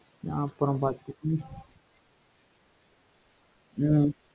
நான் அப்புறம் பாத்து ஹம் ஹம்